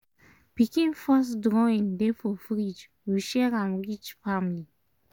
pikin first drawing dey for fridge we share m reach family